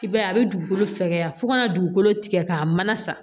I b'a ye a bɛ dugukolo fɛgɛya fo kana dugukolo tigɛ k'a mana sa